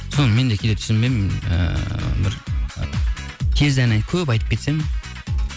соны мен де кейде түсінбеймін ыыы бір тез ән көп айтып кетсем